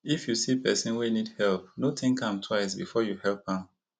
if you see pesin wey need help no think am twice before you help am